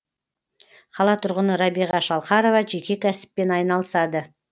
қала тұрғыны рабиға шалқарова жеке кәсіппен айналысады